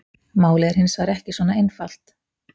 Málið er hins vegar ekki svona einfalt.